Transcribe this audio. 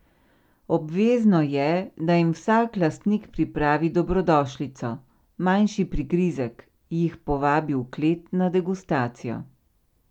Obvezno je, da jim vsak lastnik pripravi dobrodošlico, manjši prigrizek, jih povabi v klet na degustacijo.